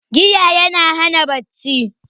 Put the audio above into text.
Giya yana hana bacci